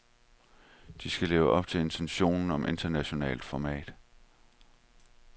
Den skal leve op til intentionen om internationalt format.